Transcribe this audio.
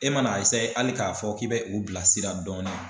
E mana hali k'a fɔ k'i bɛ u bila sira dɔɔni